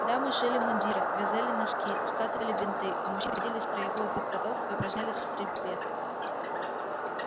дамы шили мундиры вязали носки скатывали бинты а мужчины проходили строевую подготовку и упражнялись в стрельбе